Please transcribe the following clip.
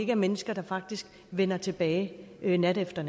er mennesker der faktisk vender tilbage nat efter